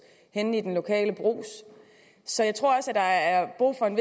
henne i den lokale brugs så jeg tror også at der er brug for en